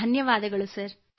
ಧನ್ಯವಾದ ಸರ್